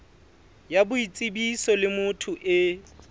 ya boitsebiso le motho e